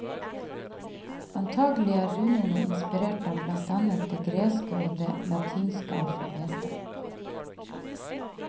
Antakelig er runene inspirert av blant annet det greske og det latinske alfabetet.